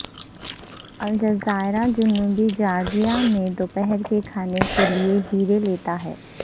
الجزائر جنوبی جارجیا میں دوپہر کے کھانے کے لئے ہیرے لیتا ہے